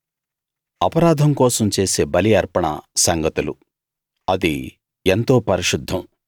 అపరాధం కోసం చేసే బలి అర్పణ సంగతులు అది ఎంతో పరిశుద్ధం